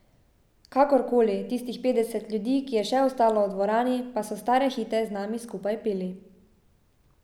Kakorkoli, tistih petdeset ljudi, ki je še ostalo v dvorani, pa so stare hite z nami skupaj peli.